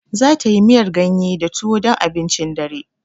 Zata yi miyar ganye da tuwo dan abincin dare.